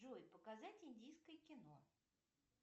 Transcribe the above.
джой показать индийское кино